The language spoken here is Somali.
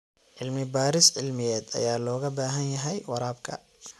Cilmi baaris cilmiyeed ayaa looga baahan yahay waraabka.